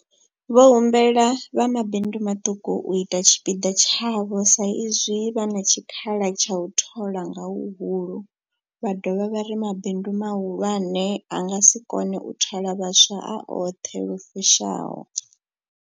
Vho humbela vha mabindu maṱuku u ita tshipiḓa tshavho sa izwi vha na tshikhala tsha u thola nga huhulu, vha dovha vha ri mabindu mahulwane a nga si kone u thola vhaswa a oṱhe lu fushaho.